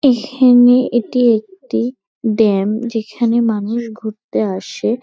এখানে এটি একটি ড্যাম যেখানে মানুষ ঘুরতে আসে।